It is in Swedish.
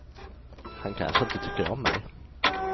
Han kanske inte tycker om mig.